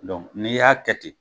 n'i y'a kɛ ten